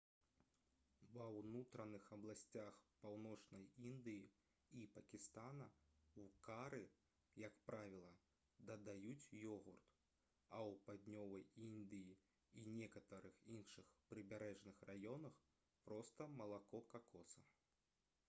ва ўнутраных абласцях паўночнай індыі і пакістана ў кары як правіла дадаюць ёгурт а ў паўднёвай індыі і некаторых іншых прыбярэжных раёнах проста малако какоса